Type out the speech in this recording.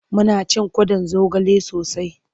Muna cin kwaɗon zogale sosai.